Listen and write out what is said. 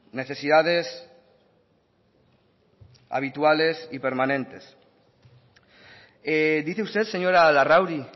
necesidades habituales y permanentes dice usted señora larrauri